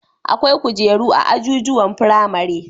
Akwai kujeru a ajujuwan firamare